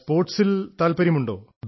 സ്പോർട്സിൽ വല്ലതുമുേണ്ടാ